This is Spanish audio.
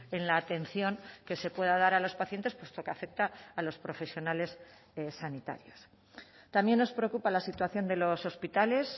en la atención que se pueda dar a los pacientes puesto que afecta a los profesionales sanitarios también nos preocupa la situación de los hospitales